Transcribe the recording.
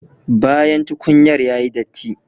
Bayan tukunyar yayi datti